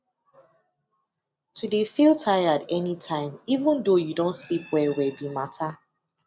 to de feel tired any tiime even though you don sleep well well be matter